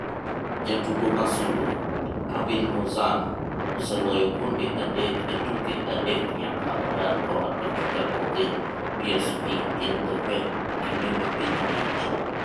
Jatugo ma sulwe: Hirving Lozano, oseloyo gonde adek e tuke adek nyaka odar koa Pachuca ko dhi PSV Eindhoven kinde ma piny liet.